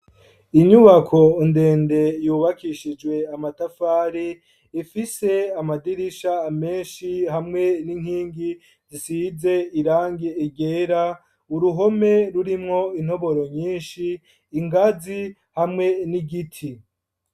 Inyubako ndende yubakishijwe amatafari, ifise amadirisha menshi hamwe n'inkingi zisize irangi ryera, uruhome rurimwo intoboro nyinshi ingazi hamwe n'igiti.